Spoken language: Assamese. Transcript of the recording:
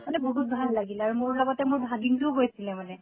মানে বহুত ভাল লাগিল আৰু মোৰ লগতে মোৰ ভাগিনটোও গৈছিলে মানে